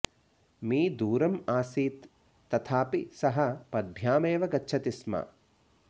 मी दूरम् आसीत् तथापि सः पद्भ्यामेव गच्छति स्म